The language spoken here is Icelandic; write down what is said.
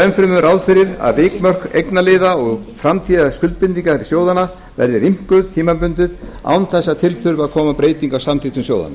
enn fremur ráð fyrir að vikmörk eignaliða og framtíðarskuldbindinga sjóðanna verði rýmkuð tímabundið án þess að til þurfi að koma breyting á samþykktum sjóðanna